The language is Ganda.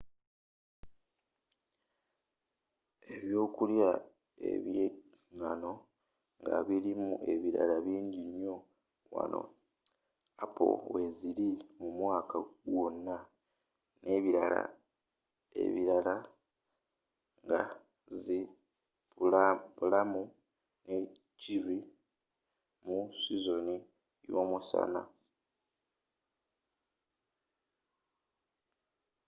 ebyokulya ebyengano nga birimu ebibala bingi nnyo wano appo weziri omwaka gwonna n'ebibala ebirala nga zi pulamu ne cherry mu sizoni y'omusana